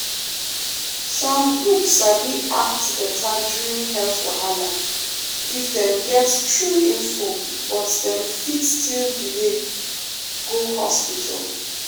um some groups sabi act better during health wahala if dem get true info but dem fit still delay um go hospital.